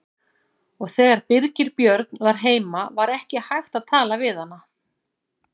Og þegar Birgir Björn var heima var ekki hægt að tala við hana.